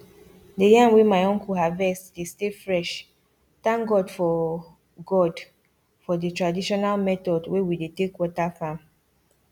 the yam wey my uncle harvest dey stay freshthank god for god for the traditional method wey we dey talk water farm